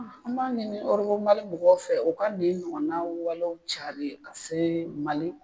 An b'a ɲini mɔgɔw fɛ u ka nin ɲɔgɔnna walew carili ka se mali